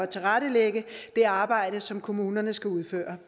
tilrettelægge det arbejde som kommunerne skal udføre